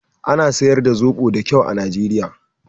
Ana siyar da zoɓo da kyau a Nijeriya